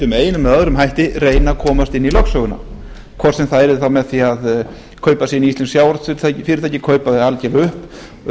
einum eða öðrum hætti reyna að komast inn í lögsöguna hvort sem það yrði þá með því að kaupa sig inn í íslensk sjávarútvegsfyrirtæki kaupa þau algerlega upp